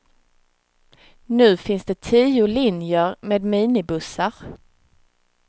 Nu finns det tio linjer med minibussar.